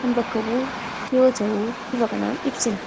kan bakka bu'u yoo ta'u bifa kanaan ibsina.